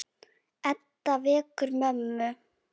Edda vekur mömmu.